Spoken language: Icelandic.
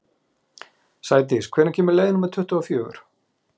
Sigdís, hvenær kemur leið númer tuttugu og fjögur?